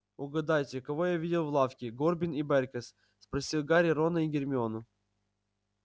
угадайте кого я видел в лавке горбин и бэркес спросил гарри рона и гермиону